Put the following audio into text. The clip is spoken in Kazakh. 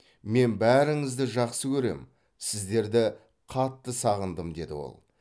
мен бәріңізді жақсы көрем сіздерді қатты сағындым деді ол